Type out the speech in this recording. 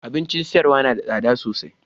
Abincin sayarwa na da tsada sosai.